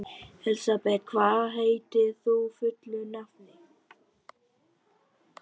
Elsabet, hvað heitir þú fullu nafni?